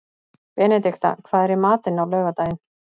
Benedikta, hvað er í matinn á laugardaginn?